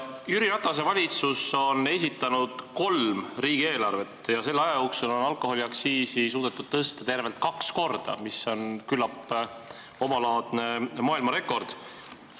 Jüri Ratase valitsus on esitanud kolm riigieelarvet ja selle aja jooksul on alkoholiaktsiisi suudetud tõsta tervelt kaks korda, mis on küllap omalaadne maailmarekord.